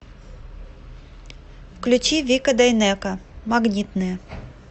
включи вика дайнеко магнитные